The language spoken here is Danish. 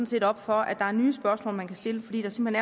set op for at der er nye spørgsmål man kan stille fordi der simpelt